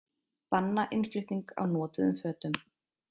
Banna innflutning á notuðum fötum